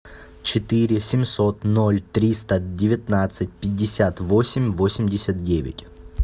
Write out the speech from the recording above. четыре семьсот ноль триста девятнадцать пятьдесят восемь восемьдесят девять